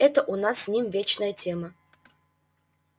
это у нас с ним вечная тема